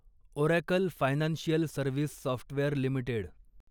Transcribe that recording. oracle financial service software limited